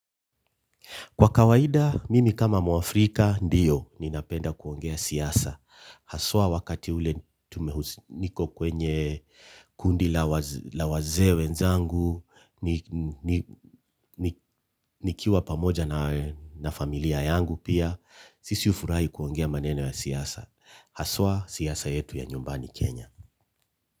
Kwa kawaida, mimi kama mwafrika, ndiyo, ninapenda kuongea siasa. Haswa wakati ule niko kwenye kundi la wazee wenzangu, nikiwa pamoja na familia yangu pia, sisi hufurahi kuongea maneno ya siasa. Haswa, siasa yetu ya nyumbani Kenya.